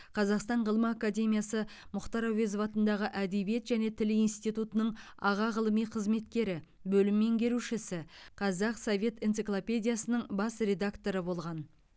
қазақстан ғылым академиясы мұхтар әуезов атындағы әдебиет және тіл институтының аға ғылыми қызметкері бөлім меңгерушісі қазақ совет энциклопедиясының бас редакторы болған